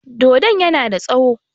Dodon yana da tsaƴo.